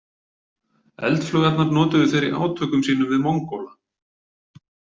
Eldflaugarnar notuðu þeir í átökum sínum við Mongóla.